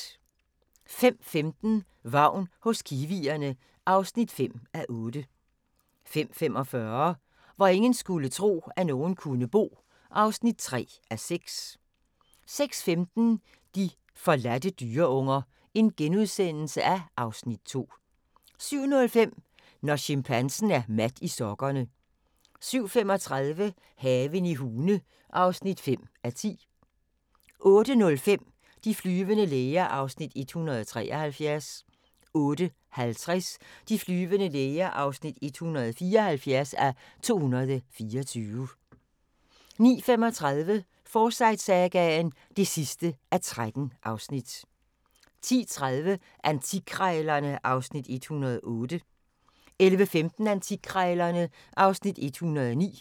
05:15: Vagn hos kiwierne (5:8) 05:45: Hvor ingen skulle tro, at nogen kunne bo (3:6) 06:15: De forladte dyreunger (Afs. 2)* 07:05: Når chimpansen er mat i sokkerne 07:35: Haven i Hune (5:10) 08:05: De flyvende læger (173:224) 08:50: De flyvende læger (174:224) 09:35: Forsyte-sagaen (13:13) 10:30: Antikkrejlerne (Afs. 108) 11:15: Antikkrejlerne (Afs. 109)